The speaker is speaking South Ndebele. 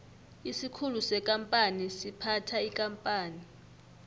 isikhulu sekampani siphatha ikampani